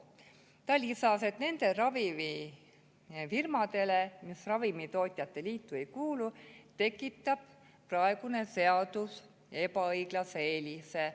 Ta lisas, et nendele ravimifirmadele, mis Ravimitootjate Liitu ei kuulu, tekitab praegune seadus ebaõiglase eelise.